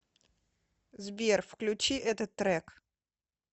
сбер включи этот трек